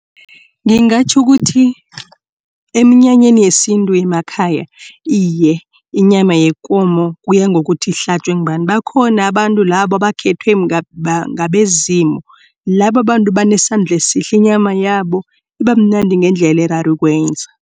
Ngingatjho ukuthi eminyanyeni yesintu yemakhaya iye inyama yekomo kuya ngokuthi ihlatjwe ngubani bakhona abantu labo abakhethwa ngabezimu. Labo bantu banesandla esihle inyama yabo ibamnandi ngendlela erarako ukwenza.